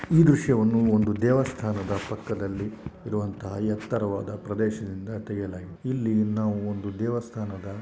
ಈ ದೃಶ್ಯವನ್ನುಒಂದು ದೇವಸ್ಥಾನದ ಪಕ್ಕದಲ್ಲಿಇರುವಂಥಹ ಎತ್ತರವಾದ ಪ್ರದೇಶದಿಂದ ತೆಗೆಯಲಾಗಿದೆ.ಇಲ್ಲಿ ನಾವು ಒಂದು ದೇವಸ್ಥಾನದ --